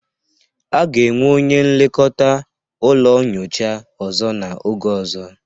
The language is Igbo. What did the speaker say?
A ga-enwe onye nlekọta ụlọ nyocha ọzọ n'oge ọzọ